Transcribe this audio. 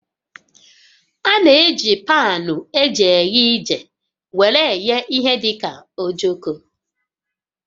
A na-eji paanụ eji eghe ije were eghe ihe dị ka ojoko